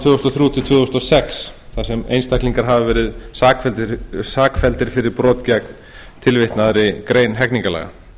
tvö þúsund og þrjú til tvö þúsund og sex þar sem einstaklingar hafa verið sakfelldir fyrir brot gegn tilvitnaðri grein hegningarlaga